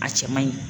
A cɛ man ɲi